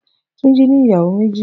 Tunji ni iyàwó méji